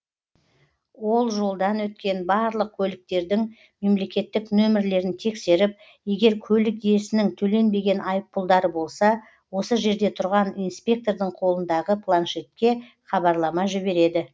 ол жолдан өткен барлық көліктердің мемлекеттік нөмірлерін тексеріп егер көлік иесінің төленбеген айыппұлдары болса осы жерде тұрған инспектордың қолындағы планшетке хабарлама жібереді